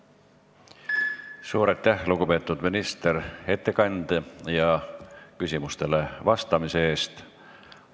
Suur aitäh, lugupeetud minister, ettekande ja küsimustele vastamise eest!